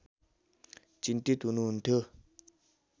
चिन्तित हुनुहुन्थ्यो